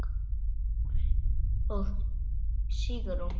Páll og Sigrún.